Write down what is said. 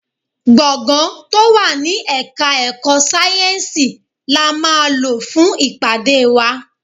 Gbọ̀ngán tó wà ní Ẹ̀ka-ẹ̀kọ́ sayensi la máa lò fún ìpàdé wa.